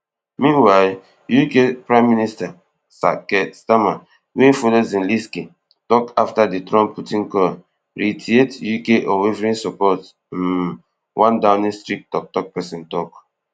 meanwhile UK prime minister sir keir starmer wey follow zelensky tok afta di trump putin call reiterate UK unwavering support um one downing street toktok pesin tok